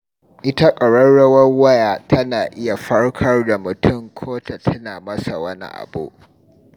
Ita ƙararrawar waya, tana iya farkar da mutum ko ta tuna masa wani abu.